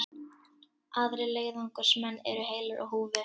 Aðrir leiðangursmenn eru heilir á húfi